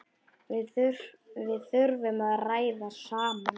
Við þurfum að ræða saman.